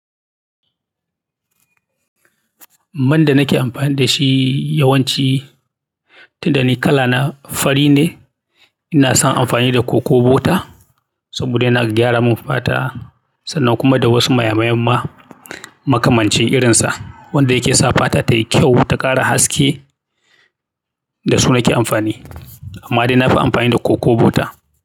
Man da nake amfani da shi yawanci tun da ni kala na fari ne, ina son amfani da Coco Butter saboda yana gyara min fata sannan kuma da wasu mayan mayan ma makamancin irinsa wanda yake sa fata tai kyau ta kara haske da su nake amfani. Amma dai na fi amfani da Coco Butter.